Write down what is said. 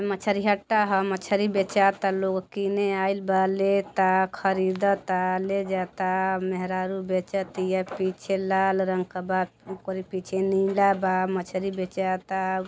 मछरीहट्टा ह लोग कीने आइल बा लेत आ ख़रीदत आ ले जात आ मेहरारू बचत इया पीछे लाल रंग क बा ओकरे पीछे नीला बा मछरी बेचाता |